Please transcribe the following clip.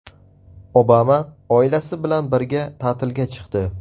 Obama oilasi bilan birga ta’tilga chiqdi.